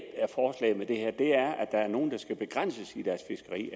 er det her er at der er nogle der skal begrænses i deres fiskeri